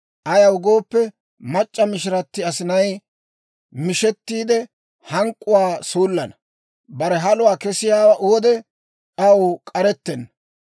Ayaw gooppe, mac'c'a mishirati asinay mishettiide, hank'k'uwaa suullana; bare haluwaa kessiyaa wode, aw k'arettenna.